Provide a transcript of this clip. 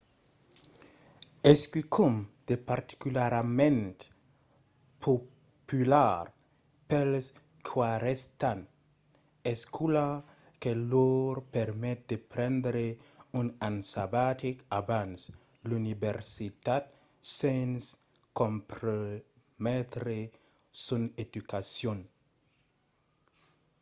es quicòm de particularament popular pels qu'arrèstan l'escòla que lor permet de prendre un an sabatic abans l’universitat sens comprometre son educacion